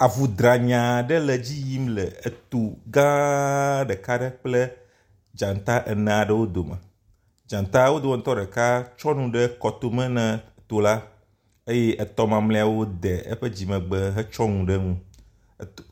Avu dranyii aɖe le edzi yim le eto gãaa ɖeka ɖe kple dzata ene aɖewo dome. Dzata wo dometɔ ɖeka tsyɔ nu ɖe kɔ tome ne eto la eye etɔ̃ mamlɛawo de eƒe dzimegbe hetsyɔ nu ɖe nu.